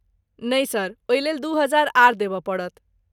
नहि सर, ओहिलेल दू हजार आर देबय पड़त।